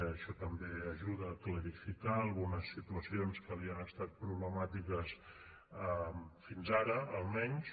això també ajuda a clarificar algunes situacions que havien estat problemàtiques fins ara almenys